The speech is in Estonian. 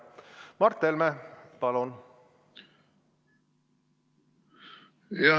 Mart Helme, palun!